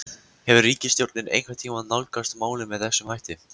Hefur ríkisstjórnin einhvern tímann nálgast málið með þessum hætti?